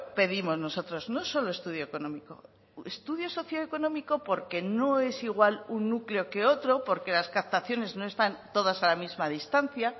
pedimos nosotros no solo estudio económico estudio socioeconómico porque no es igual un núcleo que otro porque las captaciones no están todas a la misma distancia